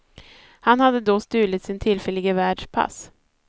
Han hade då stulit sin tillfällige värds pass.